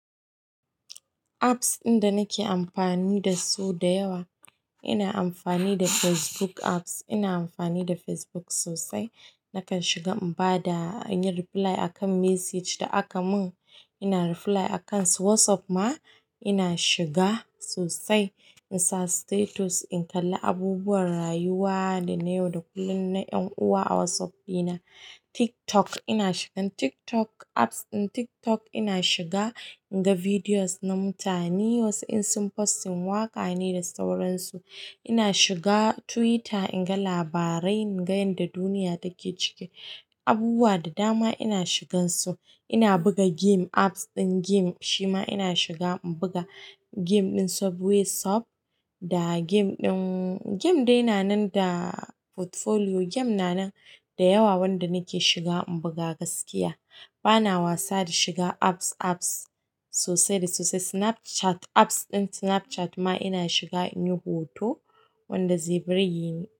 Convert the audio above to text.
Apps ɗin da nake anfani dasu da yawa ina anfani da Facebook app ina anfani da Facebook sosai. Nakan shiga in ba da, in yi reply a kan message da aka mun. Ina reply a kan su. WhatsApp ma ina shiga sosai, in sa status, in kalla abubuwan rayuwa da na yau da kullum na ƴan uwa a WhatsApp dina. TikTok ina shigan TikTok apps ɗin TikTok ina shiga in ga videos na mutane wasu in sun posting waƙa ne da sauransu. Ina shiga Twitter in ga labarai, in ga yanda duniya take ciki. Abubuwa da dama ina shigansu. Ina buga game apps ɗin game shi ma ina shiga in buga game ɗin Subway Surf da game ɗin, game dai na nan da portfolio game na nan da yawa wanda nake shiga in buga gaskiya. Bana wasa da shiga apps, apps sosai da sosai. Snapchat apps ɗin Snapchat ma ina shiga in yi hoto wanda zai burge ni.